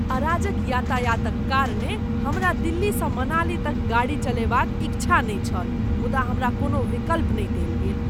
अराजक यातायातक कारणेँ हमरा दिल्लीसँ मनाली तक गाड़ी चलयबाक इच्छा नहि छल, मुदा हमरा कोनो विकल्प नहि देल गेल।